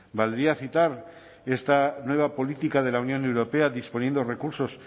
valdría citar esta nueva política de la unión europea disponiendo recursos